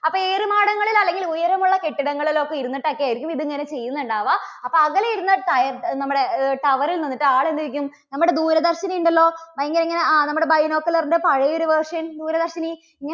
അപ്പോൾ ഏറുമാടങ്ങളിൽ അല്ലെങ്കിൽ ഉയരമുള്ള കെട്ടിടങ്ങളിൽ ഒക്കെ ഇരുന്നിട്ട് ഒക്കെ ആയിരിക്കും ഇത് ഇങ്ങനെ ചെയ്യുന്നുണ്ടാവുക. അപ്പോൾ അകലെ ഇരുന്ന് ട നമ്മുടെ അഹ് tower ൽ നിന്നിട്ട് ആൾ എന്ത് നമ്മുടെ ദൂരദർശനി ഉണ്ടല്ലോ. ഇങ്ങനെയിങ്ങനെ, ആ നമ്മുടെ binocular ന്റെ പഴയ ഒരു version, ദൂരദർശനി?